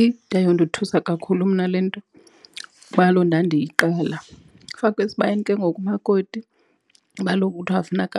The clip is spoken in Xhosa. Ide yandothusa kakhulu mna le nto kuba kaloku ndandiyiqala. Ufakwe esibayeni ke ngoku umakoti kuba kaloku kuthwa funeka .